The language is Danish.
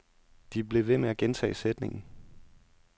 De blev ved med at gentage sætningen.